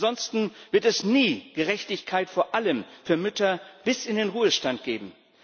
Ansonsten wird es nie Gerechtigkeit vor allem für Mütter bis in den Ruhestand geben.